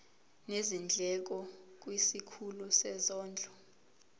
nezindleko kwisikhulu sezondlo